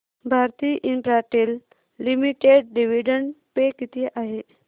Bharti Infratel limited dividend pay किती आहे